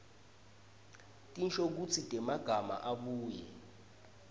tinshokutsi temagama abuye